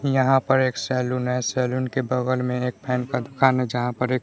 यहां पर एक सैलून है सैलून के बगल में एक फैन का दुकान है जहां पर एक--